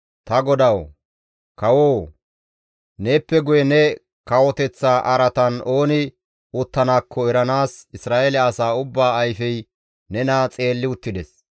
Ta godawu, kawoo! Neeppe guye ne kawoteththa araatan ooni uttanaakko eranaas Isra7eele asaa ubbaa ayfey nena xeelli uttides.